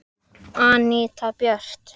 Anita Björt.